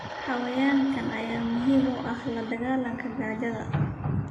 Xayawaankan ayaa muhiim u ah la dagaalanka gaajada.